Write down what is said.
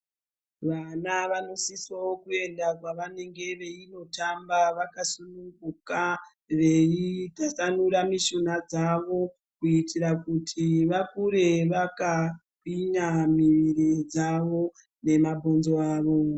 Vana vanosisawo kuenda kwavanenge veinotamba vakasununguka, veitasanura mishuna dzavo kuitira kuti vakure vakagwinya miviri dzavo nemabhonzo avo.